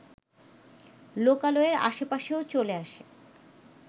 লোকালয়ের আশপাশেও চলে আসে